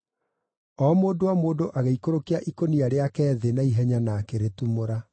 O mũndũ o mũndũ agĩikũrũkia ikũnia rĩake thĩ na ihenya na akĩrĩtumũra.